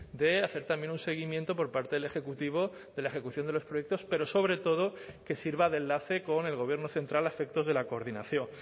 de hacer también un seguimiento por parte del ejecutivo de la ejecución de los proyectos pero sobre todo que sirva de enlace con el gobierno central a efectos de la coordinación